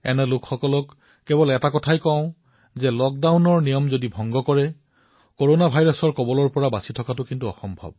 মই এই লোকসকলক কব বিচাৰিছো যে লক্ডাউন ভংগ কৰিলে কৰনা ভাইৰাছৰ পৰা ৰক্ষা পৰাটো কঠিন হৈ পৰিব